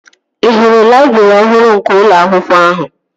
Ị hụrụ laịbrị ọhụrụ nke ụlọ akwụkwọ ahụ?